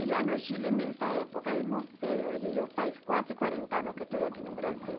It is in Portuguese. E lá no Chile, nessa época, não sei, hoje eu faz quase quarenta anos que estou aqui no Brasil.